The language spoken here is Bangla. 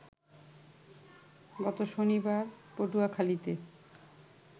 গত শনিবার পটুয়াখালীতে